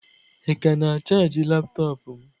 Ị ka na-ana chaajị laptọọpụ m?